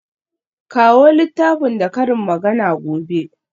Kawo littafin da karin magana gobe.